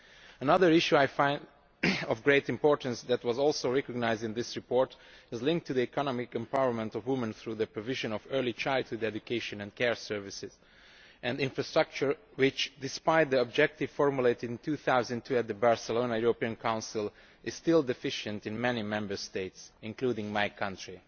Another issue I find of great importance that is also recognised in this report is the economic empowerment of women through the provision of early childhood education and care services, an infrastructure which, despite the objectives formulated in 2002 at the Barcelona European Council, is still deficient in many Member States, including my country.